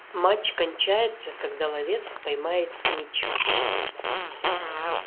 матч кончается когда ловец споймает снитч